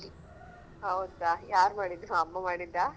ಹೌದಾ ಯಾರ್ ಮಾಡಿದು ಅಮ್ಮ ಮಾಡಿದ್ದ?